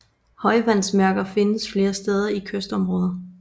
Højvandsmærker findes flere steder i kystområder